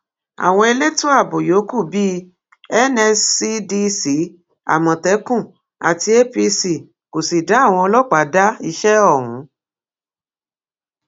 àwọn elétò ààbò yòókù bíi nscdc amókẹkùn àti apc kò sì dá àwọn ọlọpàá dá iṣẹ ọhún